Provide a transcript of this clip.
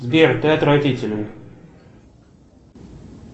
сбер ты отвратителен